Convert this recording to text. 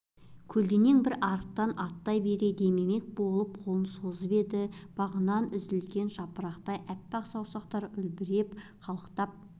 көлденең бір арықтан аттай бере демемек болып қолын созып еді бағынан үзілген жапырақтай әппақ саусақтар үлбірей қалықтап